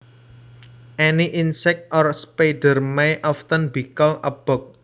Any insect or spider may often be called a bug